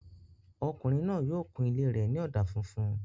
Ọkùnrin náà yóò kun ilé rẹ̀ ní ọ̀dà funfun